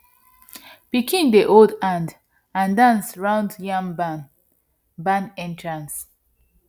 pikin dey hold hand and dance round yam barn barn entrance